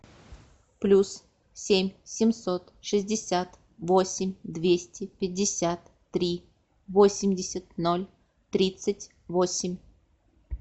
плюс семь семьсот шестьдесят восемь двести пятьдесят три восемьдесят ноль тридцать восемь